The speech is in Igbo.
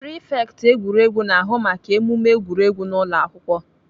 Prifekt egwuregwu na-ahụ maka emume egwuregwu n'ụlọakwụkwọ.